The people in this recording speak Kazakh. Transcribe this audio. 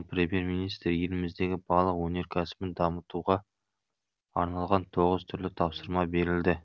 премьер министр еліміздегі балық өнеркәсібін дамытуға арналған тоғыз түрлі тапсырма берілді